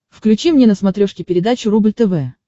включи мне на смотрешке передачу рубль тв